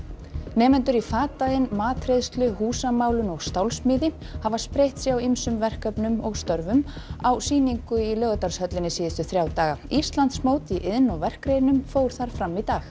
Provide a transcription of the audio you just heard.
nemendur í fataiðn matreiðslu húsamálun og stálsmíði hafa spreytt sig á ýmsum verkefnum og störfum á sýningu í Laugardalshöllinni síðustu þrjá daga Íslandsmót í iðn og verkgreinum fór þar fram í dag